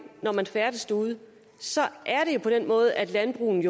når man færdes derude er på den måde at landbruget